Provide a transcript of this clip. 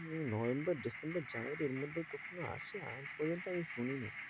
November, December, January এর মধ্যে কখনো আসে আজ পর্যন্ত আমি শুনিনি।